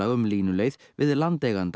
um línuleið við landeiganda